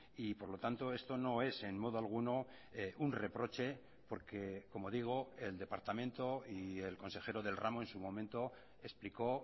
y por lo tanto esto no es en modo alguno un reproche porque como digo el departamento y el consejero del ramo en su momento explicó